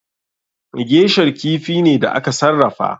Geisher kifi ne da aka sarrafa.